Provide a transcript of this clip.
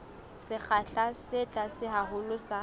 sekgahla se tlase haholo sa